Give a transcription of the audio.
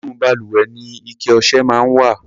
Inú balùwẹ̀ ni ike ọṣẹ máa ń wà.